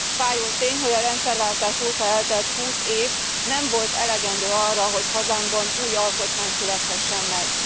Fájó tény, hogy a rendszerváltás óta eltelt 20 év nem volt elegendő arra, hogy hazámban új alkotmány születhessen meg.